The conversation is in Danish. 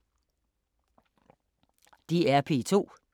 DR P2